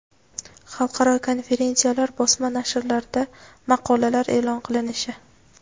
xalqaro konferensiyalar bosma nashrlarida maqolalar e’lon qilinishi;.